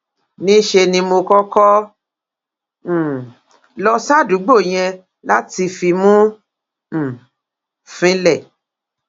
níṣẹ ni mo kọkọ um lọ sádùúgbò yẹn láti fimú um fínlẹ